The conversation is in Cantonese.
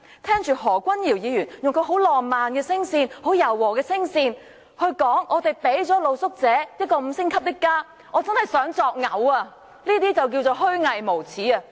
聽着何君堯議員以其浪漫柔和的聲線說他們向露宿者提供了五星級的家，我真的很感噁心，這便是虛偽無耻。